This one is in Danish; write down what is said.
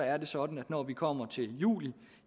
er det sådan at når vi kommer til juli